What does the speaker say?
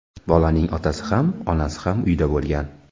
Bolaning otasi ham, onasi ham uyda bo‘lgan.